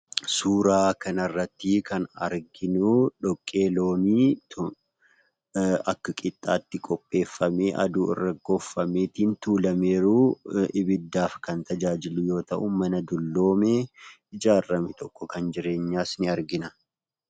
Suuraa kana irratti kan arginuu , dhoqqee loonii akka qixxaatti qopheeffamee aduu irratti gogfamee, tuulamee jiru ibbidaaf kan tajaajilu yoo ta'u, mana dulloome ijaarame tokko kan jireenyas ni argina.